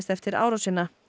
eftir árásina